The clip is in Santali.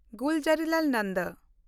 ᱜᱩᱞᱡᱟᱨᱤᱞᱟᱞ ᱱᱚᱱᱫᱚ